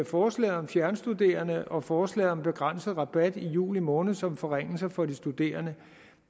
forslaget om fjernstuderende og forslaget om begrænset rabat i juli måned som forringelser for de studerende